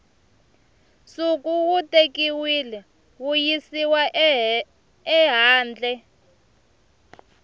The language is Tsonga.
nsuku wu tekiwile wuyisiwa ehandle